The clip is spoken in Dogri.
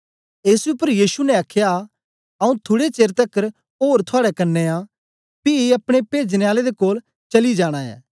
एस उपर यीशु ने आख्या आऊँ थुड़े चेर तकर ओर थुआड़े कन्ने आं पी अपने पेजने आले दे कोल चली जाना ऐ